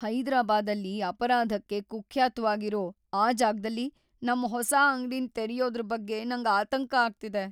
ಹೈದರಾಬಾದಲ್ಲಿ ಅಪರಾಧಕ್ಕೆ ಕುಖ್ಯಾತ್ವಾಗಿರೋ ಆ ಜಾಗ್ದಲ್ಲಿ ನಮ್ ಹೊಸ ಅಂಗ್ಡಿನ್ ತೆರ್ಯೋದ್ರ್ ಬಗ್ಗೆ ನಂಗ್ ಆತಂಕ ಆಗ್ತಿದೆ.